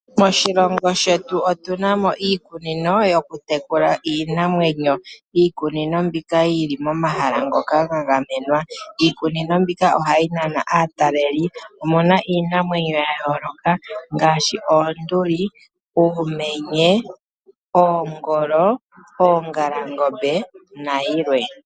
Moshilongo shetu otunamo iikunino yoku tekula iinamwenyo, iikunino mbika oyili momahala ngoka ga gamenwa. Iikunino mbika ohayi Nana aataleli, omuna iinamwenyo ya yooloka ngaaashi ,oonduli, uumenye, oongolo, oongalangombe nayilwe.